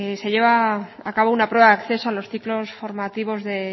se lleva a cabo una prueba de acceso a los ciclos formativos de